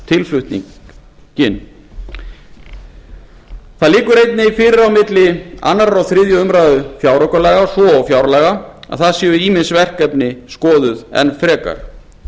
verkefnatilflutninginn það liggur fyrir að á milli annars og þriðju umræðu fjáraukalaga svo og fjárlaga verði ýmis verkefni skoðuð enn frekar